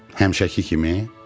Həmişəki kimi?